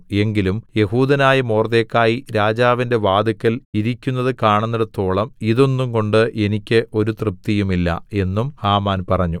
എങ്കിലും യെഹൂദനായ മൊർദെഖായി രാജാവിന്റെ വാതില്ക്കൽ ഇരിക്കുന്നത് കാണുന്നേടത്തോളം ഇതൊന്നുംകൊണ്ട് എനിക്ക് ഒരു തൃപ്തിയും ഇല്ല എന്നും ഹാമാൻ പറഞ്ഞു